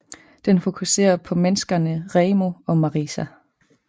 Den fokusere på menneskerne Reimu og Marisa